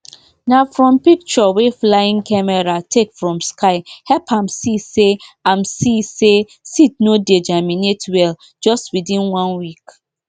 na from picture wey flying camera take from sky help am see say am see say seed no dey germinate well just within one week